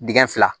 Dingɛ fila